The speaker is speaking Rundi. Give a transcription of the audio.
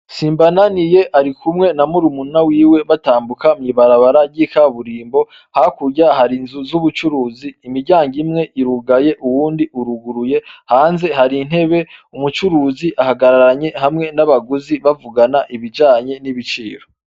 Simbananiye barikumwe na murumunawe batambuka mw'ibarabara ry'ikaburimbo ,hakurya har'inzu z'ubucuruzi ,imiryango imwe irugaye, uwundi uruguruye, hanze har'intebe ,umucuruzi ahagararanye hamwe n'abaguzi bavugana ibijanye n'ibiciro.